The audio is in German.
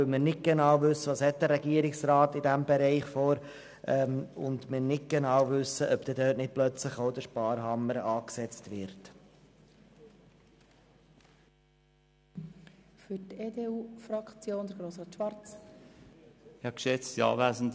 Wir wissen ja nicht genau, was der Regierungsrat in diesem Bereich beabsichtigt und ob dort nicht plötzlich auch der Sparhammer angesetzt wird.